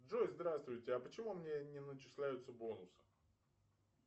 джой здравствуйте а почему мне не начисляются бонусы